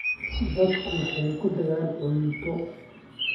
Dadku waxay ku deeqaan cunto.